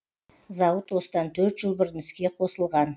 зауыт осыдан төрт жыл бұрын іске қосылған